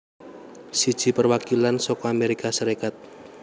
Siji Perwakilan saka Amérika Sarékat